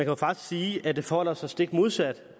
jo faktisk sige at det forholder sig stik modsat